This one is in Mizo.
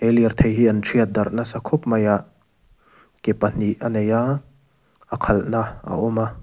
he lirthei hi an thiat darh nasa khawp mai a ke pahnih a nei a a khalhna a awm a.